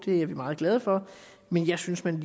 er vi meget glade for men jeg synes man